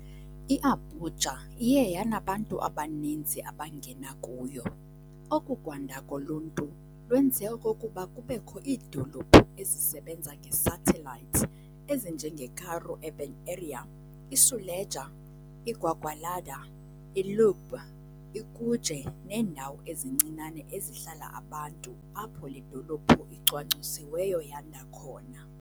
I-Abuja iye yanabantu abaninzi abangena kuyo, oku kwanda koluntu lwenze okokuba kubekho iidolophu ezisebenza ngesatellite ezinjengeKaru Urban Area, iSuleja, iGwagwalada, iLugbe, iKuje neendawo ezincinane ezihlala abantu apho le dolophu icwangcisiweyo yanda khona.